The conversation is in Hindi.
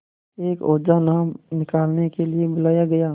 एक ओझा नाम निकालने के लिए बुलाया गया